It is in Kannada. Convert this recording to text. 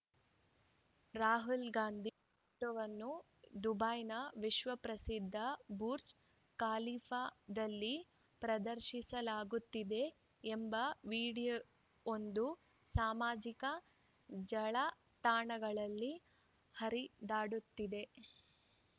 ರಾಹುಲ್‌ ಗಾಂಧಿ ಫೋಟೋವನ್ನು ದುಬೈನ ವಿಶ್ವಪ್ರಸಿದ್ಧ ಬುಜ್‌ರ್‍ ಖಲೀಫಾದಲ್ಲಿ ಪ್ರದರ್ಶಿಸಲಾಗುತ್ತಿದೆ ಎಂಬ ವಿಡಿಯೋವೊಂದು ಸಾಮಾಜಿಕ ಜಾಲತಾಣಗಳಲ್ಲಿ ಹರಿದಾಡುತ್ತಿದೆ